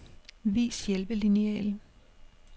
Vis hjælpelineal.